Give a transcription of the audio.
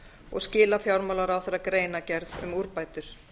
og skila fjármálaráðherra greinargerð um úrbætur